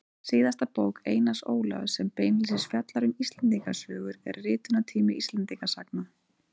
Síðasta bók Einars Ólafs sem beinlínis fjallar um Íslendingasögur er Ritunartími Íslendingasagna.